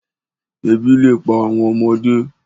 Ebi le pa awọn ọmọde